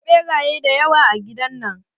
Akwai ɓeraye dayawa a gidan nan.